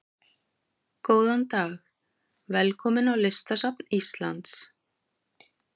Góðan dag. Velkomin á Listasafn Íslands.